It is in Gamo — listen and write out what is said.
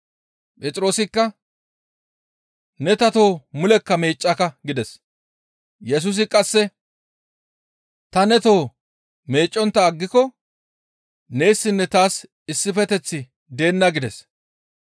Phexroosikka, «Ne ta toho mulekka meeccaka» gides. Yesusi qasse, «Ta ne toho meeccontta aggiko neessinne taas issifeteththi deenna» gides.